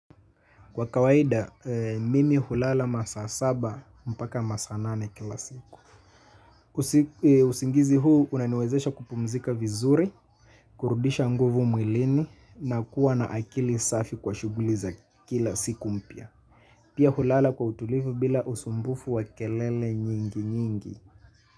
Kwa kawaida, mimi hulala masaa saba mpaka masaa nane kila siku. Usingizi huu unaniwezesha kupumzika vizuri, kurudisha nguvu mwilini na kuwa na akili safi kwa shughuli za kila siku mpya. Pia hulala kwa utulivu bila usumbufu wa kelele nyingi nyingi.